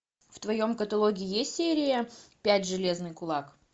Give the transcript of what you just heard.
в твоем каталоге есть серия пять железный кулак